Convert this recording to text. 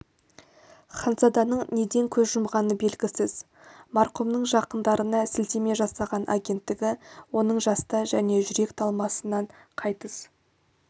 ханзаданың неден көз жұмғаны белгісіз марқұмның жақындарына сілтеме жасаған агенттігі оның жаста және жүрек талмасынан қайтыс